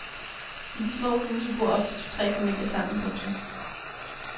I de små huse bor ofte to tre familier sammen. punktum